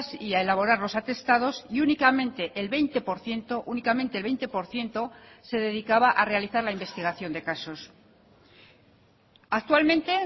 y a elaborar los atestados y únicamente el veinte por ciento únicamente el veinte por ciento se dedicaba a realizar la investigación de casos actualmente